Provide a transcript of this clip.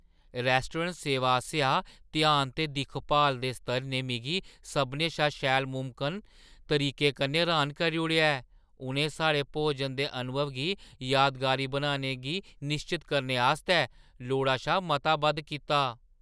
Restaurant सेवा आसेआ ध्यान ते दिक्खभाल दे स्तर ने मिगी सभनें शा शैल मुमकन तरीके कन्नै र्‌हान करी ओड़ेआ ऐ; उ'नें साढ़े भोजन दे अनुभव गी यादगारी बनाने गी निश्चत करने आस्तै लोड़ा शा मता बद्ध कीता ।